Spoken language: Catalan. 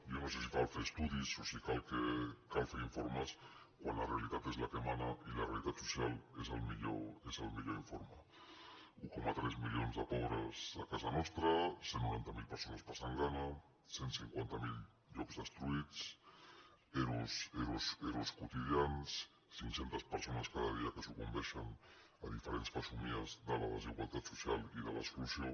jo no sé si cal fer estudis o si cal fer informes quan la realitat és la que mana i la realitat social és el millor informe un coma tres milions de pobres a casa nostra cent i noranta miler persones passant gana cent i cinquanta miler llocs destruïts ero i ero quotidians cinc cents persones cada dia que sucumbeixen a diferents fesomies de la desigualtat social i de l’exclusió